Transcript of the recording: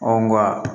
nka